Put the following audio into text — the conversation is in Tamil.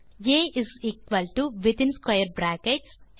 ah within square brackets